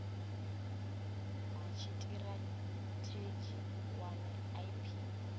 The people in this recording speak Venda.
ha tshitirathedzhi u wana ip